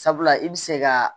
Sabula i bɛ se ka